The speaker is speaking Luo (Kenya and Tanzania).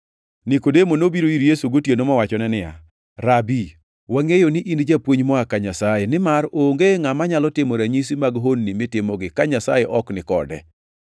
Nikodemo nobiro ir Yesu gotieno mowachone niya, “Rabi, wangʼeyo ni in japuonj moa ka Nyasaye, nimar onge ngʼama nyalo timo ranyisi mag honni mitimogi ka Nyasaye ok ni kode.”